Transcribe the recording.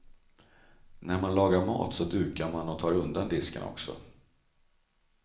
När man lagar mat så dukar man och tar undan disken också.